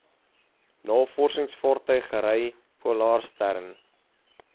navorsingsvaartuig rv polarstern